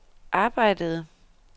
arbejdede